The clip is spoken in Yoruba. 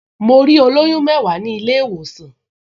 Mo rí olóyún mẹ́wàá ní ilé-ìwòsàn